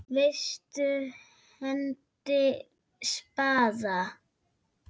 Vestur hendir spaða.